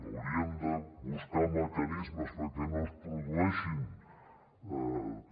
hauríem de buscar mecanismes perquè no es produeixin també